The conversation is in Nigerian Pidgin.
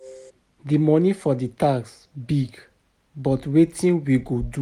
The money for the tax big but wetin we go do?